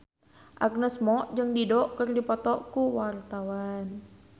Agnes Mo jeung Dido keur dipoto ku wartawan